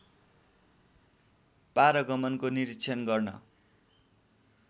पारगमनको निरीक्षण गर्न